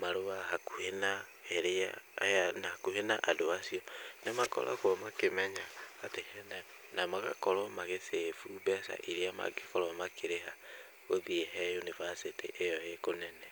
marũa hakuhĩ na ĩrĩa aya hakuhĩ na andũ acio nĩmakoragwo makĩmenya atĩ hena magakorwo magĩ save u mbeca iria mangĩkorwo makĩrĩha gũthiĩ he yunibacĩtĩ ĩyo ĩ kũnene.